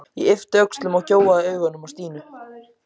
Ég yppti öxlum og gjóaði augunum á Stínu.